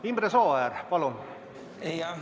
Imre Sooäär, palun!